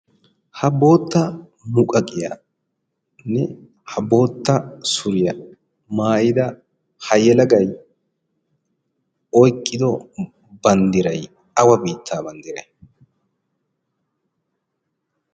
Ha bootta muqaqiyaanne ha bootta suriya maayida ha yelagay oyqqido banddiray awa biittaa banddiray?